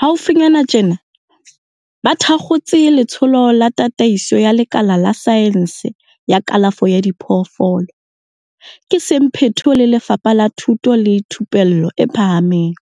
Haufinyana tjena ba thakgotse Letsholo la Tataiso ya Lekala la Saense ya Kalafo ya Diphoofolo, ka semphato le Lefapha la Thuto le Thupello e Phahameng,